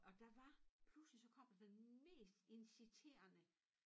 Og der var pludselig så kom der den mest inciterende